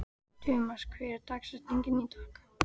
Tumas, hver er dagsetningin í dag?